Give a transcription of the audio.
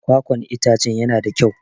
Kwakwan itacen yana da kyau.